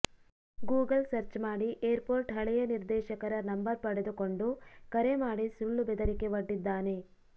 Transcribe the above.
Google search ಮಾಡಿ airport ಹಳೆಯ ನಿರ್ದೇಶಕರ ನಂಬರ್ ಪಡೆದುಕೊಂಡು ಕರೆ ಮಾಡಿ ಸುಳ್ಳು ಬೆದರಿಕೆ ಒಡ್ಡಿದ್ದಾನೆ